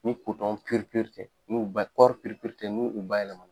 Ni ni kɔri n''u ba yɛlɛmana.